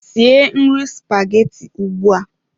Sie nri spaghetti ugbu a!